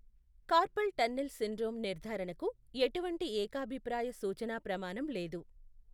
Carpal tunnel syndrome నిర్ధారణకు ఎటువంటి ఏకాభిప్రాయ సూచనా ప్రమాణం లేదు.